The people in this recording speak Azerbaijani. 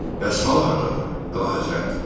Bəs sal hardadır, Vəlahəzrət?